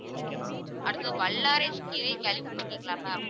அடுத்தது வல்லாரை கீரையை கேள்விபட்டுருக்கீங்களா ma'am